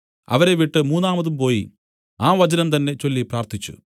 അവരെ വിട്ടു മൂന്നാമതും പോയി ആ വചനം തന്നേ ചൊല്ലി പ്രാർത്ഥിച്ചു